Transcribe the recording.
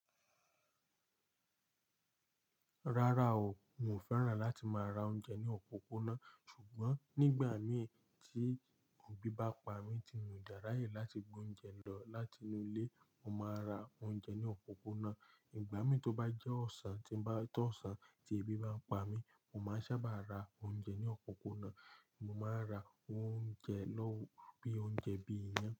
Rárá o, mi ò fẹ́ràn láti máa ra oúnjẹ ní òpópónà. Ṣùgbọ́n nígbà mí tí ebi bá pa mí tí mo dẹ̀ ra ye láti gbé oúnjẹ lọ láti inú ilé, mo máa ra oúnjẹ ní òpópónà. Ìgbà mí tó bá jẹ́ ọ̀sán, tí bá tó ọ̀sán tí èbí bá pa mí, mo máa sábà ra oúnjẹ ní òpópónà. Mo máa ń ra oúnjẹ lọ́, bí i oúnjẹ bí i ìyàn.